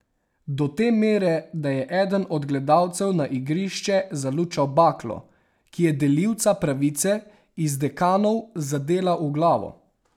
Do te mere, da je eden od gledalcev na igrišče zalučal baklo, ki je delivca pravice iz Dekanov zadela v glavo.